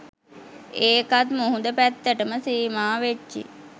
ඒකත් මුහුද පැත්තටම සීමා වෙච්චි